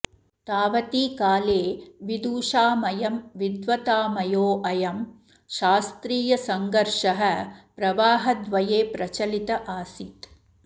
तावति काले विदुषामयं विद्वत्तामयोऽयं शास्त्रीयसङ्घर्षः प्रवाहद्वये प्रचलित आसीत्